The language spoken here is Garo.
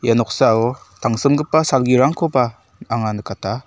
ia noksao tangsimgipa salgirangkoba anga nikata.